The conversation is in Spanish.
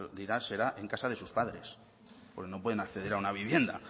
dirá será en casa de sus padres porque no pueden acceder a una vivienda